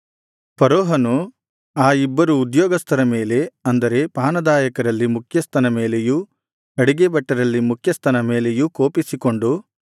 ಫರೋಹನು ಆ ಇಬ್ಬರು ಉದ್ಯೋಗಸ್ಥರ ಮೇಲೆ ಅಂದರೆ ಪಾನದಾಯಕರಲ್ಲಿ ಮುಖ್ಯಸ್ಥನ ಮೇಲೆಯೂ ಅಡಿಗೆ ಭಟ್ಟರಲ್ಲಿ ಮುಖ್ಯಸ್ಥನ ಮೇಲೆಯೂ ಕೋಪಿಸಿಕೊಂಡು